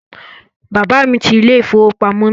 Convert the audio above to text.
Bàbá ti ilé-ìfowópamọ́ náà